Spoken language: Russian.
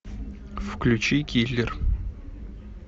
включи киллер